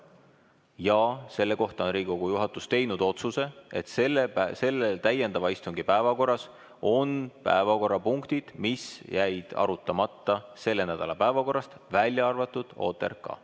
Ja selle kohta on Riigikogu juhatus teinud otsuse, et täiendava istungi päevakorras on päevakorrapunktid, mis jäid arutamata selle nädala päevakorrast, välja arvatud OTRK.